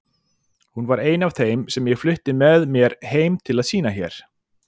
Hún var ein af þeim sem ég flutti með mér heim til að sýna hér.